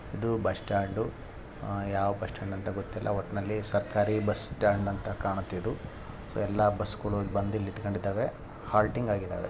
ಆಹ್ ಇದು bus stand ಯಾವ bus stand ಅಂತ ಗೋತಯಿಲ್ಲ ಒಟ್ಟಿನಲ್ಲಿ ಸರ್ಕಾರಿ ಬಸ್ ಸ್ಟಾಂಡ್ ಅಂತ ಕಾಣುತ್ತೆ ಇದು ಸೋ ಎಲ್ಲಾ ಬಸ್ಗಳು ಇಲ್ಲಿ ಬಂದು ನಿಂತುಕೊಂಡು ಇದ್ದವೆ ಹಾಲ್ಟಿನ್ಗ್ ಅಗೆದವೇ.